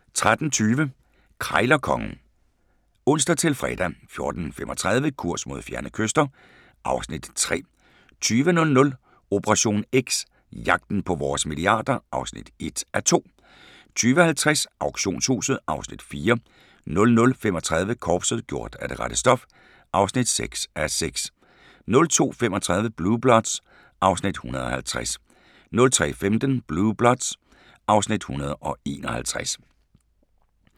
13:20: Krejlerkongen (ons-fre) 14:35: Kurs mod fjerne kyster (Afs. 3) 20:00: Operation X: Jagten på vores milliarder (1:2) 20:50: Auktionshuset (Afs. 4) 00:35: Korpset - gjort af det rette stof (6:6) 02:35: Blue Bloods (Afs. 150) 03:15: Blue Bloods (Afs. 151)